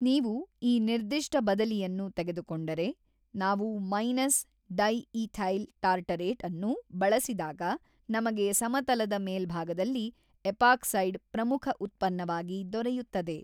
ನೀವು ಈ ನಿರ್ದಿಷ್ಟ ಬದಲಿಯನ್ನು ತೆಗೆದುಕೊಂಡರೆ ನಾವು ಮೈನಸ್ ಡೈಈಥೈಲ್ ಟಾರ್ಟರೇಟ್ ಅನ್ನು ಬಳಸಿದಾಗ ನಮಗೆ ಸಮತಲದ ಮೇಲ್ಭಾಗದಲ್ಲಿ ಎಪಾಕ್ಸೈಡ್ ಪ್ರಮುಖ ಉತ್ಪನ್ನವಾಗಿ ದೊರೆಯುತ್ತದೆ.